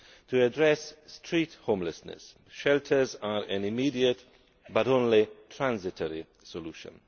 To address street homelessness, shelters are an immediate, but only a transitory, solution.